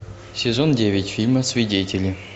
сезон девять фильма свидетели